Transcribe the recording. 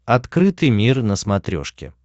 открытый мир на смотрешке